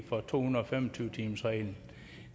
for to hundrede og fem og tyve timersreglen